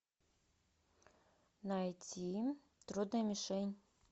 найти трудная мишень